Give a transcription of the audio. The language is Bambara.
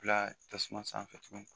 Bila tasuma sanfɛ tuguni